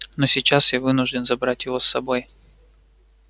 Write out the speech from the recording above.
но сейчас я вынужден забрать его с собой